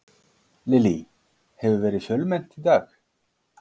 Lillý, hefur verið fjölmennt í dag?